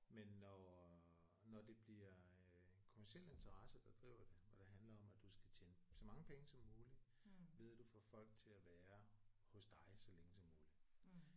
Men når når det bliver øh kommerciel interesse der driver det og det handler om at du skal tjene så mange penge som muligt ved du får folk til at være hos dig så længe som muligt